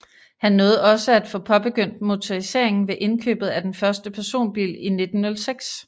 Han nåede også at få påbegyndt motoriseringen ved indkøbet af den første personbil i 1906